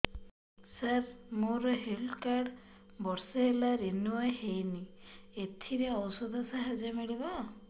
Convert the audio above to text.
ସାର ମୋର health card ବର୍ଷେ ହେଲା ରିନିଓ ହେଇନି ଏଥିରେ ଔଷଧ ସାହାଯ୍ୟ ମିଳିବ